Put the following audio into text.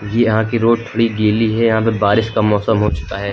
यहां की रोड थोड़ी गीली है यहां पर बारिश का मौसम हो चुका है।